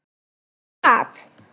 Allt hvað?